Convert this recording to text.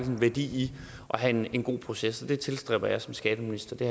en værdi i at have en en god proces og det tilstræber jeg som skatteminister det